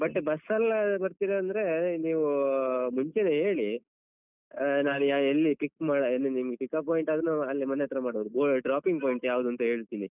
ಮತ್ತೆ bus ಅಲ್ ಬರ್ತೀರ ಅಂದ್ರೆ ನೀವು ಮುಂಚೆನೆ ಹೇಳಿ. ನಾನ್ ಯ~ ಎಲ್ಲಿ pick ಮಾ ಎಲ್ಲಿ pickup point ಆದ್ರೆ ನಾವ್ ಅಲ್ಲೇ ಮನೆ ಹತ್ರ ಮಾಡೋದು ಬೋ dropping point ಯಾವ್ದು ಅಂತ ಹೇಳ್ತೀನಿ.